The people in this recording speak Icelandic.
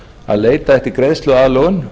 að leita eftir greiðsluaðlögun